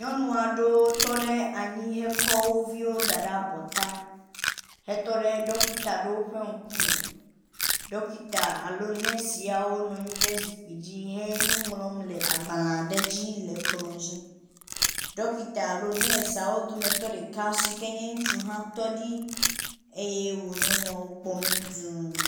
Nyɔnu aɖewo tɔ ɖe anyi hekɔ woviwo da ɖe abɔ ta hetɔ ɖe ɖɔkita ɖewo ƒe ŋkume. Ɖɔkita alo nɔsiawo nɔ anyi ɖe zikpui dzi henuŋlɔm le agbalẽ aɖe dzi le kplɔ̃ dzi. Ɖɔkita alo nɔsiawo dometɔ ɖeka si ke nye ŋutsu hã tɔ ɖi eye wo nyɔnuawo kpɔm dũu.